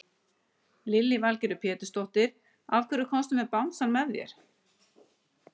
Lillý Valgerður Pétursdóttir: Af hverju komstu með bangsann með þér?